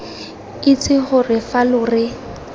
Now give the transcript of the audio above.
itse gore fa lo re